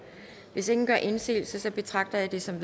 hvis ingen gør indsigelse betragter jeg det som